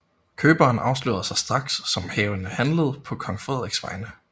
Køberen afslørede sig straks som havende handlet på kong Frederiks vegne